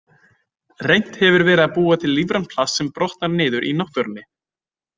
Reynt hefur verið að búa til lífrænt plast sem brotnar niður í náttúrunni.